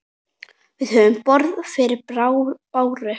Við höfum borð fyrir báru.